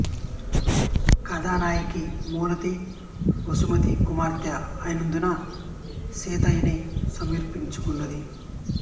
కథానాయకి మాలతి వసుమతీ కుమార్తె అయినందున సీత యని స్పురించుచున్నది